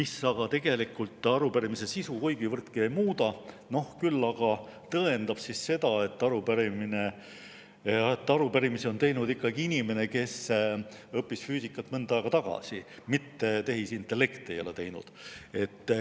See tegelikult arupärimise sisu kuigivõrdki ei muuda, küll aga tõendab seda, et arupärimise on teinud ikkagi inimene, kes õppis füüsikat mõnda aega tagasi, mitte tehisintellekt ei ole seda teinud.